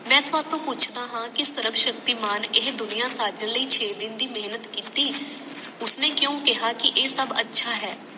ਮੈਂ ਤੁਹਾਡੇ ਤੋਂ ਪੁੱਛਦਾ ਹਾਂ ਕਿ ਸਰਵਸ਼ਕਤੀਮਾਨ ਇਹ ਦੁਨੀਆਂ ਸਾਡੇ ਲਈ ਛੇ ਦਿਨ ਦੀ ਮੇਹਨਤ ਕੀਤੀ ਉਸਨੇ ਕਯੋ ਕਿਹਾ ਕਿ ਇਹ ਸਬ ਅੱਛਾ ਹੈ